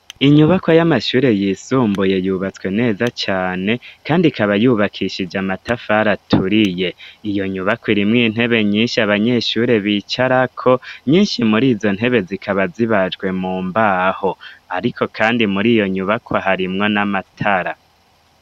Inyubakwa y'amashure yisumbuye, yubatswe neza cane, kandi ikaba yubakishije matafari aturiye, iyo nyubakwa irimwo intebe nyinshi abanyeshuri bicarako, nyinshi muri izo ntebe zikaba zibajwe mu mbaho, ariko kandi muri iyo nyubakwa harimwo n'amatara.